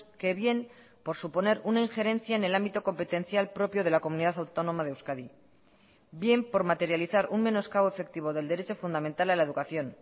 que bien por suponer una injerencia en el ámbito competencial propio de la comunidad autónoma de euskadi bien por materializar un menoscabo efectivo del derecho fundamental a la educación